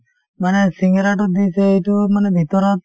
মানে শিঙিৰাটো দিছে এইটো মানে ভিতৰত